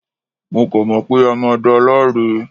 Mo kàn mọ̀ pé a máa da láre